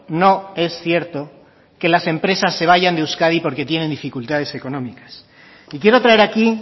no es cierto que las empresas se vayan de euskadi porque tienen dificultades económicas y quiero traer aquí